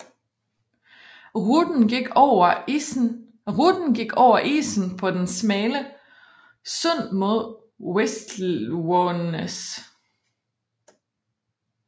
Ruten gik over isen på det smalle sund mod Wisłanæs